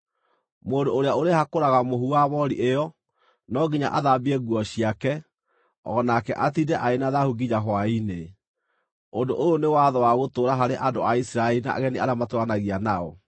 Mũndũ ũrĩa ũrĩhakũraga mũhu wa moori ĩyo, no nginya athambie nguo ciake, o nake atiinde arĩ na thaahu nginya hwaĩ-inĩ. Ũndũ ũyũ nĩ watho wa gũtũũra harĩ andũ a Isiraeli na ageni arĩa matũũranagia nao.